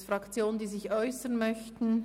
Gibt es Fraktionen, die sich äussern möchten?